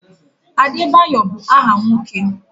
Adebayo bụ áhà nwoke.